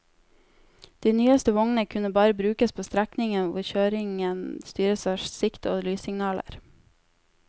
De nyeste vognene kunne bare brukes på strekningen hvor kjøringen styres av sikt og lyssignaler.